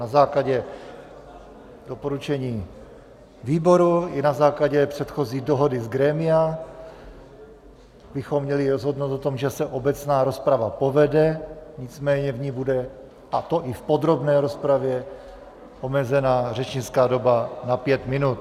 Na základě doporučení výboru i na základě předchozí dohody z grémia bychom měli rozhodnout o tom, že se obecná rozprava povede, nicméně v ní bude, a to i v podrobné rozpravě, omezená řečnická doba na pět minut.